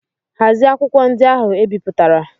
Hazie akwụkwọ ndị ahụ e bipụtarala!